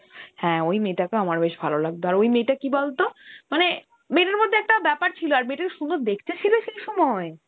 হ্যা ওই মেয়টাকে আমার বেস ভালো লাগত, আর ওই মেয়টা কি বলতো, মানে মেয়টার মধ্যে একটা বেপার ছিলো, আর মেয়টা সুন্দর দেখতে ছিলো সেই সময়.